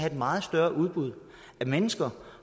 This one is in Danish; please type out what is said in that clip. et meget større udbud af mennesker